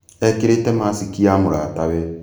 Ekīrīte maciki ya mūrata we